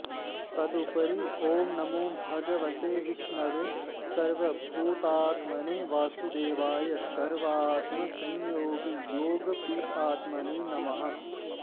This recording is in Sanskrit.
तदुपरि ॐ नमो भगवते विष्णवे सर्वभूतात्मने वासुदेवाय सर्वात्मसंयोगयोगपीठात्मने नमः